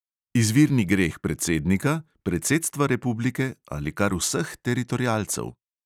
Izvirni greh predsednika, predsedstva republike ali kar vseh teritorialcev?